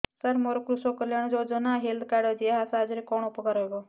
ସାର ମୋର କୃଷକ କଲ୍ୟାଣ ଯୋଜନା ହେଲ୍ଥ କାର୍ଡ ଅଛି ଏହା ସାହାଯ୍ୟ ରେ କଣ ଉପକାର ହବ